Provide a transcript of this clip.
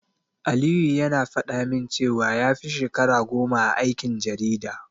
Aliyu yana faɗa min cewa ya fi shekara goma a aikin jarida.